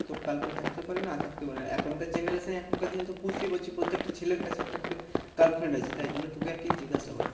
তোর girlfriend থাকতে পারে না থাকতে পারে এখন কার generation এ এখন কার দিনে তো বুঝতেই পারছিস প্রত্যেকটা ছেলের কাছে একটা করে girlfriend আছে তাই জন্য তোকে আর কি জিজ্ঞাসা করলাম।